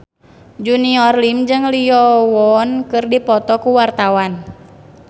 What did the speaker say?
Junior Liem jeung Lee Yo Won keur dipoto ku wartawan